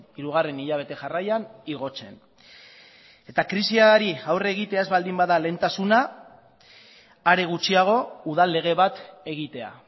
hirugarren hilabete jarraian igotzen eta krisiari aurre egitea ez baldin bada lehentasuna are gutxiago udal lege bat egitea